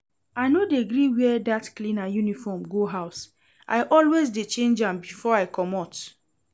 I no dey gree wear dat cleaner uniform go house. I always dey change am before I comot